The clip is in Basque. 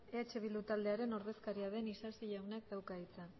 eh bildu taldearen ordezkaria den isasi jaunak dauka hitza